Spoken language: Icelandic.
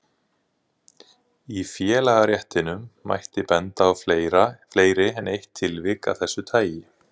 Í félagaréttinum mætti benda á fleiri en eitt tilvik af þessu tagi.